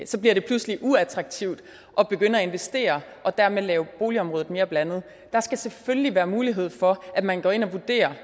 så bliver det pludselig uattraktivt at begynde at investere og dermed lave boligområdet mere blandet der skal selvfølgelig være mulighed for at man går ind og vurderer